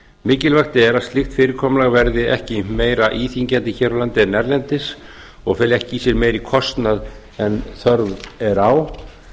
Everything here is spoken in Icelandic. mikilvægt er að slíkt fyrirkomulag verði ekki meira íþyngjandi hér á landi en erlendis og feli ekki í sér meiri kostnað en þörf er á